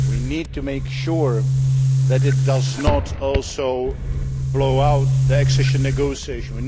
Union. We need to make sure that it does not also blow up the accession negotiation.